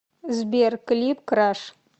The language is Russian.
сбер клип краш